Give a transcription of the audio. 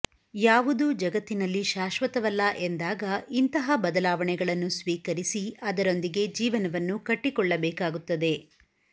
ಯಾವುದೂ ಜಗತ್ತಿನಲ್ಲಿ ಶಾಶ್ವತವಲ್ಲ ಎಂದಾಗ ಇಂತಹ ಬದಲಾವಣೆಗಳನ್ನು ಸ್ವೀಕರಿಸಿ ಅದರೊಂದಿಗೆ ಜೀವನವನ್ನು ಕಟ್ಟಿಕೊಳ್ಳಬೇಕಾಗುತ್ತದೆ